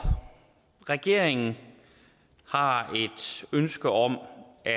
regeringen har et ønske om at